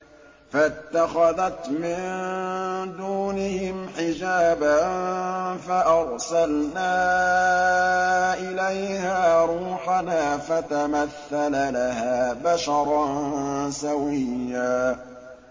فَاتَّخَذَتْ مِن دُونِهِمْ حِجَابًا فَأَرْسَلْنَا إِلَيْهَا رُوحَنَا فَتَمَثَّلَ لَهَا بَشَرًا سَوِيًّا